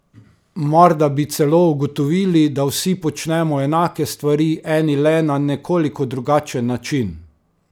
Morda bi celo ugotovili, da vsi počnemo enake stvari, eni le na nekoliko drugačen način?